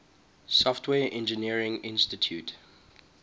software engineering institute